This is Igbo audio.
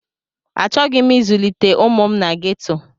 Achọghị m ịzụlite ụmụ m na geto.